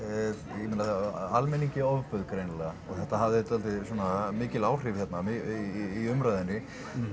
ég meina almenningi ofbauð greinilega og þetta hafði svolítið mikil áhrif hérna í umræðunni